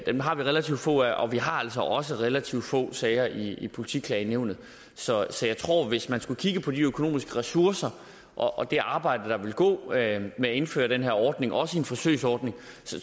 dem har vi relativt få af og vi har altså også relativt få sager i politiklagenævnet så hvis man skulle kigge på de økonomiske ressourcer og det arbejde der ville gå med at indføre den her ordning også en forsøgsordning